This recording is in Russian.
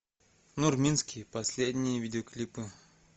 нурминский последние видеоклипы